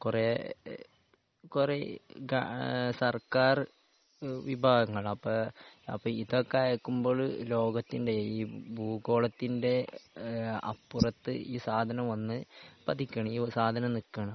കുറേ കുറേ ഏഹ് കാ സർക്കാർ വിഭാഗങ്ങളാണ്. അപ്പൊ അപ്പൊ ഇതൊക്കെ അയക്കുമ്പഴ് ലോകത്തിന്റെ ഈ ഭൂഗോളത്തിന്റെ ഏഹ് അപ്പുറത്ത് ഈ സാധനം വന്ന് പതിക്കാണ്. ഈ ഒരു സാധനം നിക്കാണ്.